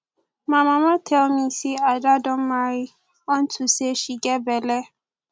my mama tell me say ada don marry unto say she get bele